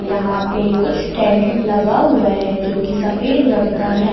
यहां पे कुछ टेंट लगा हुआ है जो की सफेद रंग का है।